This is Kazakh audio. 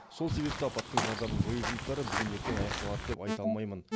сол себепті апаттың зардабын жою жұмыстары бүгін ертең аяқталады деп айта алмаймын